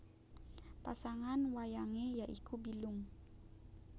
Pasangan wayangé ya iku Bilung